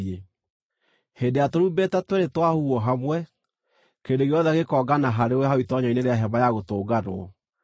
Hĩndĩ ĩrĩa tũrumbeta tweerĩ twahuhwo hamwe, kĩrĩndĩ gĩothe gĩkongana harĩwe hau itoonyero-inĩ rĩa Hema-ya-Gũtũnganwo.